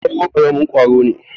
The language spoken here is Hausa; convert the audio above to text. sauro karamin kwaro ne